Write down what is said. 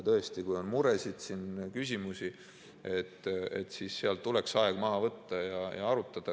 Tõesti, kui on muresid ja küsimusi, siis tuleks aeg maha võtta ja arutada.